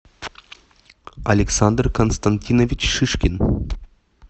александр константинович шишкин